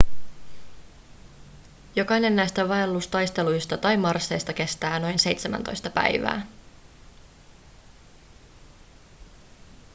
jokainen näistä vaellustaisteluista tai marsseista kestää noin 17 päivää